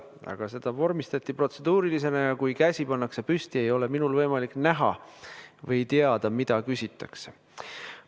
Aga see vormistati protseduurilisena ja kui käsi pannakse püsti, ei ole minul võimalik näha või teada, mida küsitakse.